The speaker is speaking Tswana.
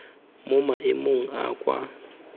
mo maemong a a kwa